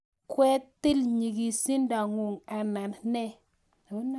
kwetil nyigisindo ngung anan nee